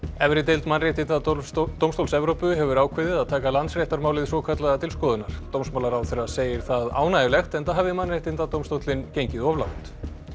efri deild Mannréttindadómstóls Evrópu hefur ákveðið að taka Landsréttarmálið svokallaða til skoðunar dómsmálaráðherra segir það ánægjulegt enda hafi Mannréttindadómstóllinn gengið of langt